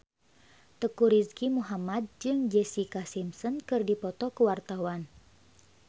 Teuku Rizky Muhammad jeung Jessica Simpson keur dipoto ku wartawan